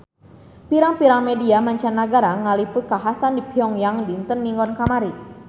Pirang-pirang media mancanagara ngaliput kakhasan di Pyong Yang dinten Minggon kamari